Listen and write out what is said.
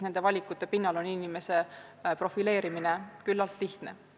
Nende valikute pinnal inimese profileerimine on küllalt lihtne.